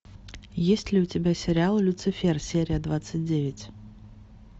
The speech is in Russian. есть ли у тебя сериал люцифер серия двадцать девять